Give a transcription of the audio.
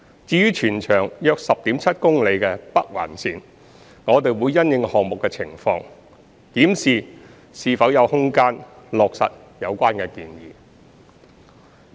至於全長約 10.7 公里的北環綫，我們會因應項目的情況檢視是否有空間落實有關建議。